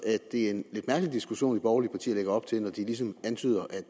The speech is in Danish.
er en lidt mærkelig diskussion borgerlige partier lægger op til når de ligesom antyder